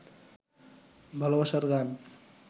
ভালবাসার গান